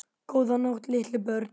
Góða nótt litlu börn.